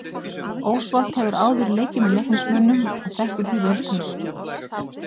Ósvald hefur áður leikið með Leiknismönnum og þekkir því vel til.